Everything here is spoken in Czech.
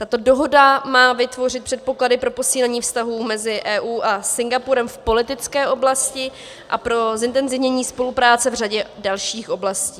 Tato dohoda má vytvořit předpoklady pro posílení vztahů mezi EU a Singapurem v politické oblasti a pro zintenzivnění spolupráce v řadě dalších oblastí.